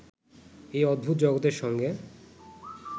এই অদ্ভুত জগতের সঙ্গে